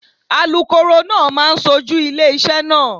Alukoro náà máa ṣojú ilé iṣẹ́ náà.